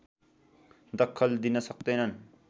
दखल दिन सक्दैनन्